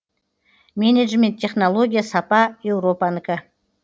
менеджмент технология сапа еуропанікі